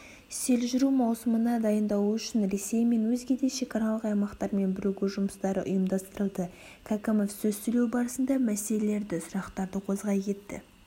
сел жүру маусына дайындалу үшін ресей мен өзгеде шекаралық аймақтармен біргу жұмыстары ұйымдастырылды кәкімов сөз сөйлеу барысында мәселелеі сұрақтарды қозғай кетті